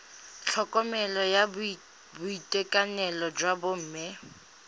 tlhokomelo ya boitekanelo jwa bomme